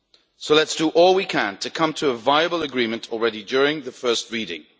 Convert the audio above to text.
list. So let us do all we can to come to a viable agreement during the first reading.